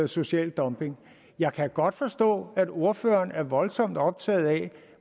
social dumping jeg kan godt forstå at ordføreren er voldsomt optaget af